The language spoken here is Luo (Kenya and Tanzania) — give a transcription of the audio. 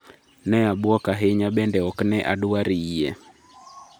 ne abwok ahinya bende ok ne adwar yie